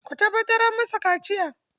Ku tabbatar an yi masa kaciya!